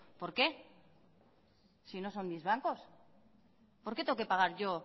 por qué si no son mis bancos por qué tengo que pagar yo